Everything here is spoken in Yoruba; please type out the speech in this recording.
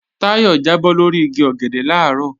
Táyọ̀ jábọ́ lórí igi ọ̀gẹ̀dẹ̀ làárọ̀